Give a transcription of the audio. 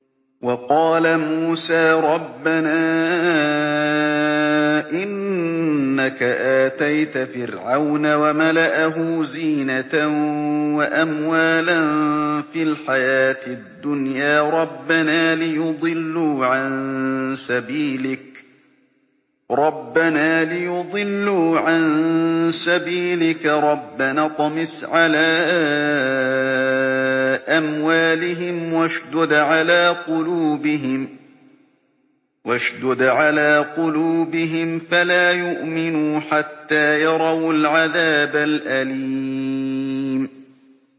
وَقَالَ مُوسَىٰ رَبَّنَا إِنَّكَ آتَيْتَ فِرْعَوْنَ وَمَلَأَهُ زِينَةً وَأَمْوَالًا فِي الْحَيَاةِ الدُّنْيَا رَبَّنَا لِيُضِلُّوا عَن سَبِيلِكَ ۖ رَبَّنَا اطْمِسْ عَلَىٰ أَمْوَالِهِمْ وَاشْدُدْ عَلَىٰ قُلُوبِهِمْ فَلَا يُؤْمِنُوا حَتَّىٰ يَرَوُا الْعَذَابَ الْأَلِيمَ